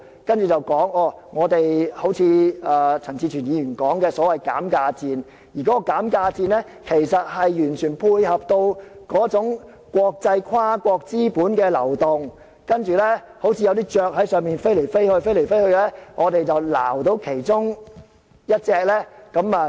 然後，又正如陳志全議員所說的減價戰，而這個減價戰，完全配合國際跨國資本的流動，好像有些雀鳥在天空中飛來飛去，我們抓着其中一隻，便有好處。